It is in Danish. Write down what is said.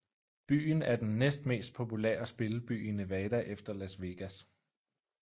Byen er den næstmest populære spilleby i Nevada efter Las Vegas